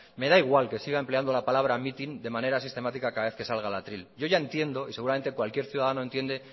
me da igual que sigan empleando la palabra mitin de manera sistemática cada vez que salga al atril yo ya entiendo y seguramente cualquier ciudadano entiende